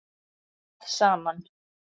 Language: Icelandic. að saman.